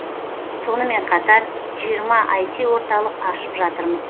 сонымен қатар жиырма іт орталық ашып жатырмыз